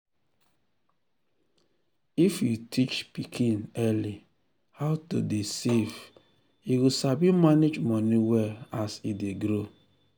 if you teach pikin early how to dey save e go sabi manage money well as e dey grow.